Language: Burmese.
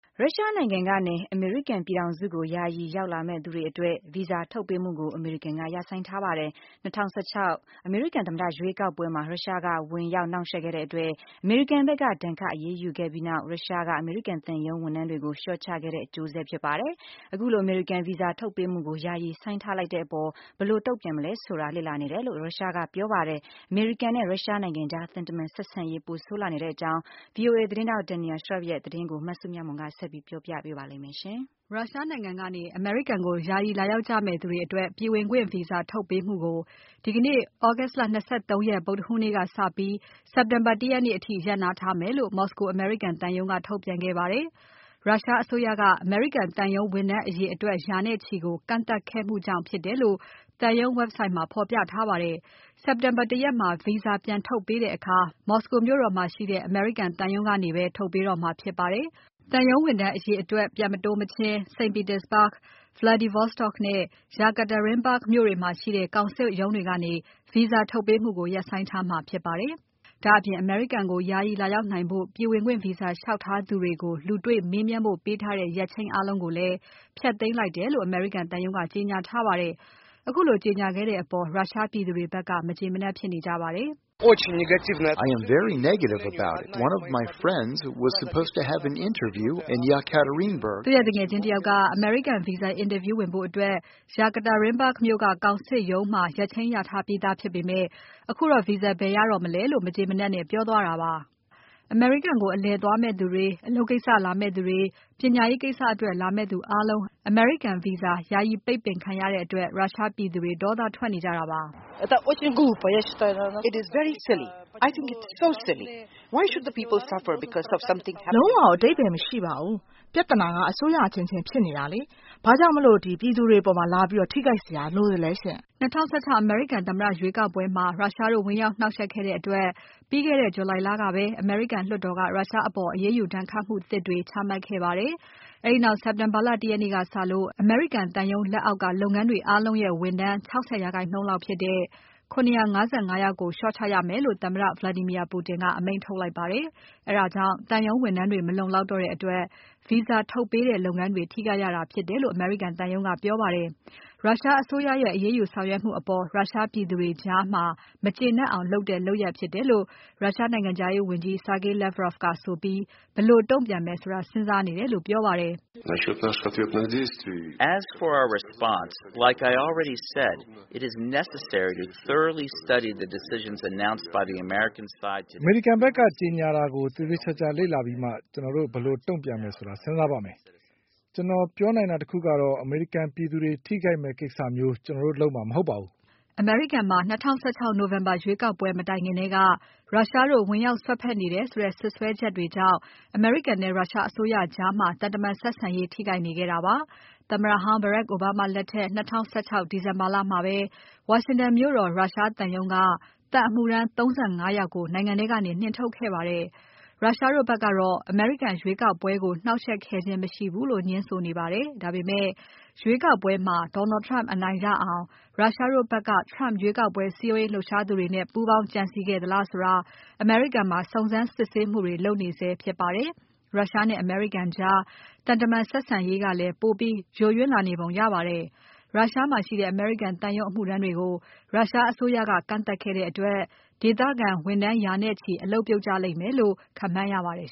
ရုရှားနိုင်ငံကနေ အမေရိကန် ပြည်ထောင်စုကို ယာယီလာရောက်မယ့်သူတွေ အတွက် ဗီဇာ ထုတ်ပေးမှုကို အမေရိကန်က ရပ်ဆိုင်းထားပါတယ်။ ၂၀၁၆ အမေရိကန်သမ္မတ ရွေးကောက်ပွဲမှာ ရုရှားက ဝင်ရောက် နှောင့်ယှက်ခဲ့တဲ့ အတွက် အမေရိကန်ဖက်က ဒဏ်ခတ် အရေးယူခဲ့ပြီးနောက် ရုရှားက အမေရိကန်သံရုံး ဝန်ထမ်းတွေကို လျှော့ချခဲ့တဲ့ အကျိုးဆက် ဖြစ်ပါတယ်။ ခုလို အမေရိကန် ဗီဇာ ထုတ်ပေးမှုကို ယာယီဆိုင်းထားလိုက်တဲ့ အပေါ် ဘယ်လိုတုံ့ပြန်ရမလဲ ဆိုတာ လေ့လာနေတယ်လို့ ရုရှားကဆိုပါတယ်။ အမေရိကန်နဲ့ ရုရှားနိုင်ငံကြား သံတမန်ဆက်ဆံရေး ပိုဆိုးလာနေတဲ့ အကြောင်း VOA သတင်းထောက် Daniel Schearf ရဲ့ သတင်းကို မစုမြတ်မွန်က ဆက်ပြီး တင်ပြပါမယ်။ ရုရှားနိုင်ငံကနေ အမေရိကန်ကို ယာယီလာရောက်ကြမယ့် သူတွေ အတွက် ပြည်ဝင်ခွင့် ဗီဇာထုတ်ပေးမှုကို ဒီကနေ့ သြဂုတ်လ ၂၃ ရက် ဗုဒ္ဓဟူးနေ့က စပြီး စက်တင်ဘာ ၁ ရက်နေ့အထိ ရပ်နားထားမယ်လို့ မော်စကို အမေရိကန်သံရုံးက ထုတ်ပြန်ခဲ့ပါတယ်။ ရုရှားအစိုးရက အမေရိကန်သံရုံး ဝန်ထမ်း အရေအတွက် ရာနဲ့ချီကို ကန့်သတ်ခဲ့မှုကြောင့် ဖြစ်တယ်လို့ သံရုံး Website မှာဖော်ပြထားပါတယ်။ စက်တင်ဘာ ၁ ရက်မှာ ဗီဇာပြန်ထုတ်ပေးတဲ့ အခါ မော်စကိုမြို့တော်မှာ ရှိတဲ့ သံရုံးကနေပဲ ထုတ်ပေးတော့မှာ ဖြစ်ပါတယ်။ သံရုံးဝန်ထမ်း အရေအတွက် ပြန်မတိုးမချင်း St. Petersburg၊ Vladivostok နဲ့ Yekaterinburg မြို့တွေမှာရှိတဲ့ ကောင်စစ်ရုံးတွေကနေ ဗီဇာထုတ်ပေးမှုကို ရပ်ဆိုင်းထားမှာပါ။ ဒါ့အပြင် အမေရိကန်ကို ယာယီလာရောက်နိုင်ဖို့ ပြည်ဝင်ခွင့် ဗီဇာ လျှောက်ထားသူကိုလူတေ့ွမေးမြန်းဖို့ ပေးထားတဲ့ ရက်ချိန်အားလုံးကိုလည်း ဖျက်သိမ်းလိုက်တယ်လို့ အမေရိကန်သံရုံးက ကြေညာထားပါတယ်။ ခုလို ကြေညာခဲ့တဲ့ အပေါ် ရုရှားပြည်သူတွေဖက်က မကျေမနပ် ဖြစ်နေကြပါတယ်။ “ တော်တော်မကျေနပ်ဘူးဗျ။ ကျွန်တော့် သူငယ်ချင်းတယောက်က အမေရိကန်ဗီဇာ အင်တာဗျူးဝင်ဖို့ Yekaterinburg ကောင်စစ်ရုံးမှာ ရက်ချိန်းရထားပြီးသား။ အခုတော့ သူဗီဇာ ဘယ်ရတော့မလဲ။” အမေရိကန်ကို အလည်ခရီး သွားမယ့်သူတွေ၊ အလုပ်ကိစ္စ လာမယ့်သူတွေ၊ ပညာရေး ကိစ္စအတွက် လာမယ့်သူ အားလုံး အမေရိကန်ဗီဇာ ယာယီ ပိတ်ပင်ခံထားရတဲ့ အတွက် ရုရှားပြည်သူတွေ ဒေါသ ထွက်နေကြတာပါ။ “ လုံးဝအဓိပ္ပါယ်မရှိပါဘူး။ ပြဿနာက အစိုးရအချင်းချင်း ဖြစ်နေတာ ဘာကြောင့် ပြည်သူတွေ အပေါ် လာပြီး ထိခိုက်စရာ လိုသလဲရှင့်။” ၂၀၁၆ အမေရိကန် သမ္မတ ရွေးကောက်ပွဲမှာ ရုရှားတို့ ဝင်ရောက် နှောင့်ယှက်ခဲ့တဲ့ အတွက် ပြီးခဲ့တဲ့ ဇူလိုင်လကပဲ အမေရိကန် လွှတ်တော်က ရုရှားအပေါ် အရေးယူ ဒဏ်ခတ်မှုသစ်တွေ ချမှတ်ခဲ့ပါတယ်။ အဲဒီနောက် စက်တင်ဘာလ ၁ ရက်နေ့ကစလို့ အမေရိကန်သံရုံး လက်အောက်က လုပ်ငန်းတွေ အားလုံးရဲ့ ဝန်ထမ်း ၆၀ ရာခိုင်နှုန်းလောက်ဖြစ်တဲ့ ၇၅၅ ယောက်ကို လျှော့ချရမယ်လို့ သမ္မတ Vladimir Putin က အမိန့်ထုတ်လိုက်ပါတယ်။ အဲဒါကြောင့် သံရုံးဝန်ထမ်းတွေ မလုံလောက်တဲ့ အတွက် Visa ထုတ်ပေးတဲ့ လုပ်ငန်းတွေ ထိခိုက်ရတာ ဖြစ်တယ်လို့ အမေရိကန်သံရုံးက ပြောပါတယ်။ ရုရှားအစိုးရရဲ့ အရေးယူ ဆောင်ရွက်မှု အပေါ် ရုရှားပြည်သူတွေကြား မကျေနပ်အောင် လုပ်တဲ့ လုပ်ရပ်ဖြစ်တယ်လို့ရုရှားနိုင်ငံခြားရေးဝန်ကြီး Sergey Lavrov ကဆိုပြီး ဘယ်လို တုံ့ပြန်မယ်ဆိုတာ စဉ်းစားနေတယ်လို့ ပြောပါတယ်။ “ အမေရိကန်ဖက်က ကြေညာတာကို သေသေချာချာ လေ့လာပြီးမှာ ကျွန်တော်တို့ ဘယ်လို တုံ့ပြန်မယ်ဆိုတာ စဉ်းစားပါမယ်။ ကျွန်တော်ပြောနိုင်တာ တခုကတော့ အမေရိကန်ပြည်သူတွေ ထိခိုက်မယ့် ကိစ္စမျိုး ကျွန်တော်တို့ လုပ်မှာ မဟုတ်ပါဘူး။” အမေရိကန်မှာ ၂၀၁၆ နိုဝင်ဘာလ ရွေးကောက်ပွဲ မတိုင်ခင်ထဲက ရုရှားတို့ ဝင်ရောက် စွက်ဖက်နေတယ် ဆိုတဲ့ စွပ်စွဲချက်တွေနဲ့ အမေရိကန်နဲ့ ရုရှားအစိုးရကြား သံတမန် ဆက်ဆံရေး ထိခိုက်နေခဲ့တာပါ။ သမ္မတဟောင်း Barack Obama လက်ထက် ၂၀၁၆ ဒီဇင်ဘာလမှာပဲ ဝါရှင်တန်မြို့တော် ရုရှားသံရုံးက သံအမှုထမ်း ၃၅ ယောက်ကို နိုင်ငံထဲကနေ နှင်ထုတ်ခဲ့ပါတယ်။ ရုရှားတို့ဖက်ကတော့ အမေရိကန် ရွေးကောက်ပွဲကို နှောင့်ယှက်ခဲ့ခြင်း မရှိဘူးလို့ ငြင်းဆိုနေပါတယ်။ ဒါပေမဲ့ ရွေးကောက်ပွဲမှာ Donald Trump အနိုင်ရအောင် ရုရှားတို့ဖက်က Trump ရွေးကောက်ပွဲ စည်းရုံးလှုပ်ရှားသူတွေနဲ့ ပူးပေါင်းကြံစည် ခဲ့သလားဆိုတာ အမေရိကန်မှာ စုံစမ်းစစ်ဆေးမှုတွေ လုပ်နေဆဲ ဖြစ်ပါတယ်။ ရုရှားနဲ့ အမေရိကန်ကြား သံတမန် ဆက်ဆံရေးကလည်း ပိုပြီး ယိုယွင်းလာနေပုံ ရပါတယ်။ ရုရှားမှာရှိတဲ့ အမေရိကန်သံရုံး အမှုထမ်းတွေကို ရုရှားအစိုးရက ကန့်သတ်ခဲ့တဲ့ အတွက် ဒေသခံဝန်ထမ်း ရာနဲ့ချီ အလုပ်ပြုတ်ကြ လိမ့်မယ်လို့ ခန့်မှန်းရပါတယ်